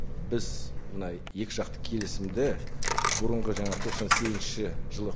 біз мына екі жақты келісімді бұрынғы жаңа тоқсан сегізінші жылы